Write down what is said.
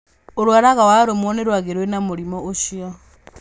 Ũrwaraga warũmwo nĩ rwagĩ rwĩna mũrimũ ũcio.